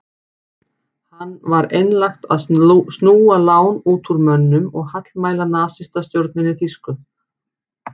Hann var einlægt að snúa lán út úr mönnum og hallmæla nasistastjórninni þýsku.